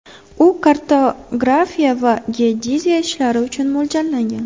U kartografiya va geodeziya ishlari uchun mo‘ljallangan.